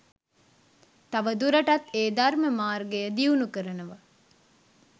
තවදුරටත් ඒ ධර්ම මාර්ගය දියුණු කරනව.